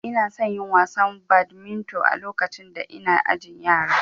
Inason yin wasan badminton a lokacin da ina ajin yara